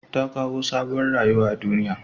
Tta kawo sabuwar rayuwa a duniya.